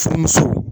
Furmuso